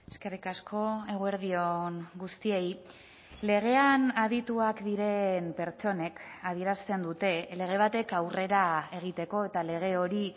eskerrik asko eguerdi on guztiei legean adituak diren pertsonek adierazten dute lege batek aurrera egiteko eta lege hori